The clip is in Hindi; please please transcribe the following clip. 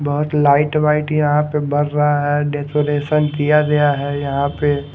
बहोत लाइट वाइट यहां पे बर रहा है डेकोरेशन किया गया है यहां पे--